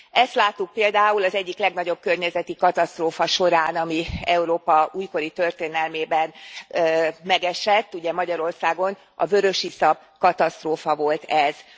Ezt láttuk például az egyik legnagyobb környezeti katasztrófa során, ami Európa újkori történelmében megesett, Magyarországon a vörösiszap katasztrófa volt ez.